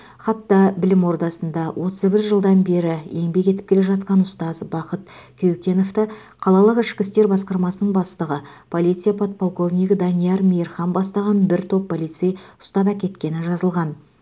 хатта білім ордасында отыз бір жылдан бері еңбек етіп келе жатқан ұстаз бақыт кеукеновты қалалық ішкі істер басқармасының бастығы полиция подполковнигі данияр мейірхан бастаған бір топ полицей ұстап әкеткені жазылған